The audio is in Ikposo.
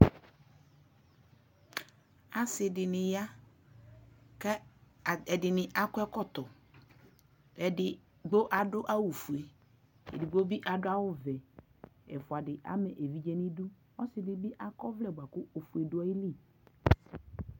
asii dini ya kʋ ɛdini akɔ ɛkɔtɔ, ɛdi adʋ awʋ ƒʋɛ ɛdigbɔ bi adʋ awʋ vɛ, ɛƒʋa di ama ɛvidzɛ nʋidʋ, ɔsii dibi akɔ ɔvlɛ kʋ ɔƒʋɛ dʋaili